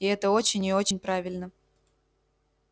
и это очень и очень правильно